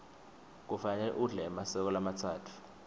kufanele udle emaseko lamatsatfu